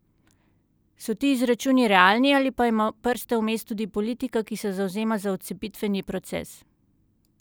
So ti izračuni realni ali pa ima prste vmes tudi politika, ki se zavzema za odcepitveni proces?